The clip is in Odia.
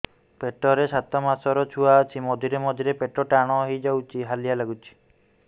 ପେଟ ରେ ସାତମାସର ଛୁଆ ଅଛି ମଝିରେ ମଝିରେ ପେଟ ଟାଣ ହେଇଯାଉଚି ହାଲିଆ ଲାଗୁଚି